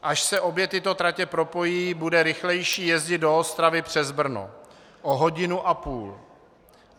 Až se obě tyto tratě propojí, bude rychlejší jezdit do Ostravy přes Brno o hodinu a půl.